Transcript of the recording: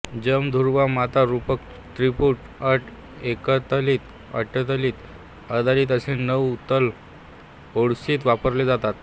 जंब ध्रुवा माता रूपक त्रिपुट अट एकतालि अटतालि आदिताल असे नऊ ताल ओडिसीत वापरले जातात